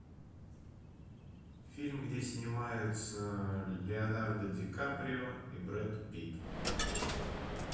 фильм где снимаются леонардо ди каприо и брэд питт